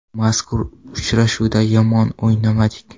Mazkur uchrashuvda yomon o‘ynamadik.